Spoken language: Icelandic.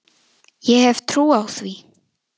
Ég hef trú á því.